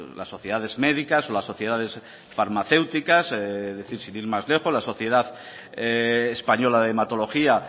las sociedades médicas las sociedades farmacéuticas sin ir más lejos la sociedad española de hematología